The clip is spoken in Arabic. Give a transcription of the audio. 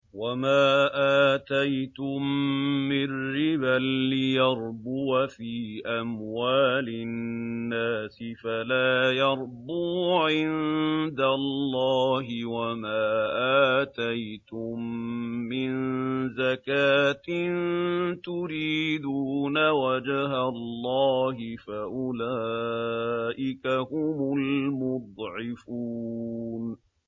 وَمَا آتَيْتُم مِّن رِّبًا لِّيَرْبُوَ فِي أَمْوَالِ النَّاسِ فَلَا يَرْبُو عِندَ اللَّهِ ۖ وَمَا آتَيْتُم مِّن زَكَاةٍ تُرِيدُونَ وَجْهَ اللَّهِ فَأُولَٰئِكَ هُمُ الْمُضْعِفُونَ